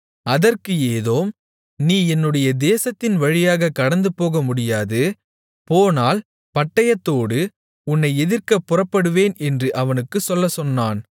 அதற்கு ஏதோம் நீ என்னுடைய தேசத்தின் வழியாகக் கடந்துபோக முடியாது போனால் பட்டயத்தோடு உன்னை எதிர்க்கப் புறப்படுவேன் என்று அவனுக்குச் சொல்லச்சொன்னான்